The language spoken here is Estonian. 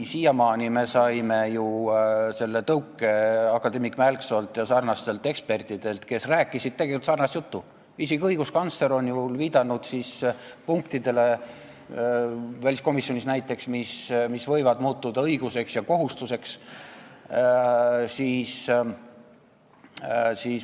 Siiamaani olime saanud ju selle tõuke akadeemik Mälksoolt ja teistelt ekspertidelt, kes rääkisid tegelikult sarnast juttu, isegi õiguskantsler on ju viidanud, väliskomisjonis näiteks, punktidele, mis võivad muutuda õiguseks ja kohustuseks.